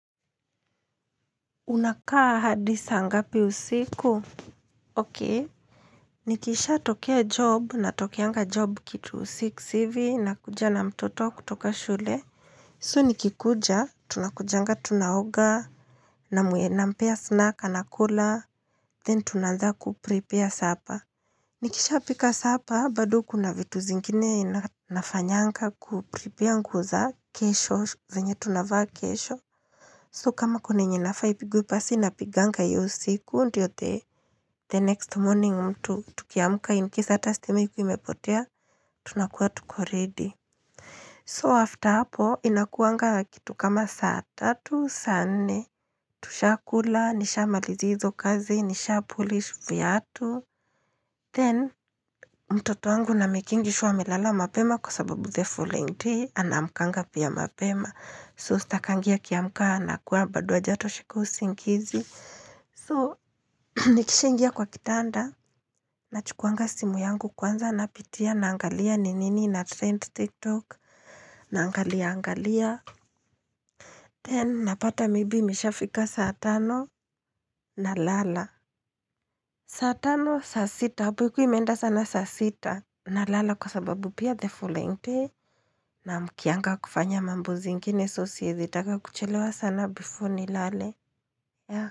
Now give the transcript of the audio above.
Unakaa hadi saa ngapi usiku okei nikisha tokea job na tokeanga job kitu six hivi na kuja na mtoto kutoka shule so nikikuja tunakujanga tunaoga na muenampea snack ana kula then tunaanza kuprepear supper nikisha pika supper bado kuna vitu zingine na nafanyanga kuprepear nguo za kesho venye tunavaa kesho So kama kuna yenye inafaa ipigwe pasi na piganga hiyo usiku, ndiyote the next morning mtu tukiamka incase hata stima ikikuwa imepotea, tunakuwa tuko ready So after hapo, inakuwanga kitu kama saa tatu, saa nne, tushakula, nisha malizi hizo kazi, nisha polish vyatu. Then, mtoto wangu namikingisure amelala mapema kwa sababu the following day, anaamkanga pia mapema. So sitakangi a kiamkana kuwa bado hajatosheka usingizi So nikishaingia kwa kitanda Nachukuanga simu yangu kwanza napitia na angalia ninini na trend tiktok na angalia angalia Then napata maybe imishafika saa tano na lala saa tano saa sita, hapo ikiwa imeenda sana saasita na lala kwa sababu pia the following Naamkianga kufanya mambo zingine So siwezitaka kuchelewa sana before ni lale ya.